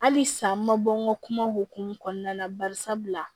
Hali sa n ma bɔ n ka kuma hokumu kɔnɔna na bari sabula